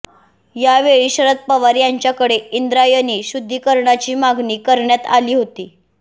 यावेळी शरद पवार यांच्याकडे इंद्रायणी शुद्धिकरणाची मागणी करण्यात आली होती